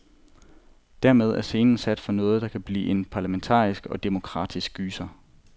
Dermed er scenen sat for noget, der kan blive en parlamentarisk og demokratisk gyser.